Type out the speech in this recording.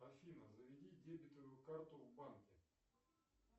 афина заведи дебетовую карту в банке